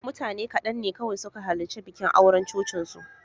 Mutane kaɗan ne kawai suka halarci bikin auren cocinsu.